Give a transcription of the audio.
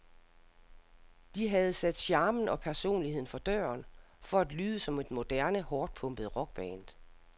De havde sat charmen og personligheden for døren for at lyde som et moderne, hårdtpumpet rockband.